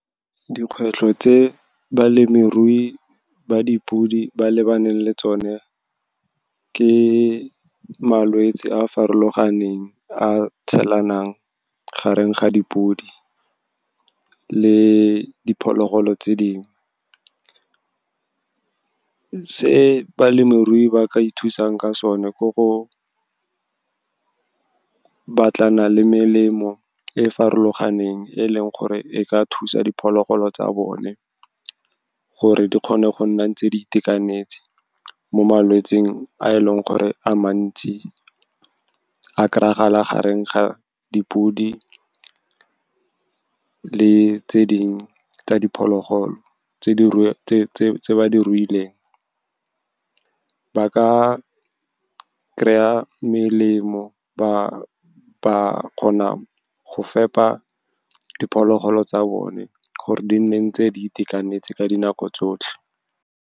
Dikgwetlho tse balemirui ba dipodi ba lebaneng le tsone ke malwetse a a farologaneng, a tshelanang gareng ga dipodi le diphologolo tse dingwe. Se balemirui ba ka ithusang ka sone ke go batlana le melemo e farologaneng, e leng gore e ka thusa diphologolo tsa bone gore di kgone go nna ntse di itekanetse mo malwetseng a eleng gore a mantsi a kry-gala gareng ga dipodi le tse ding tsa diphologolo tse ba ruileng. Ba ka kry-a melemo, ba kgona go fepa diphologolo tsa bone gore di nne ntse di itekanetse ka dinako tsotlhe.